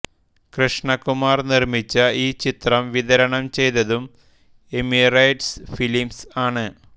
കൃഷ്ണകുമാർ നിർമ്മിച്ച ഈ ചിത്രം വിതരണം ചെയ്തതും എമിറേറ്റ്സ് ഫിലിംസ് ആണ്